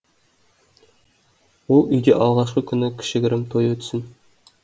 ол үйде алғашқы күні кішігірім той өтсін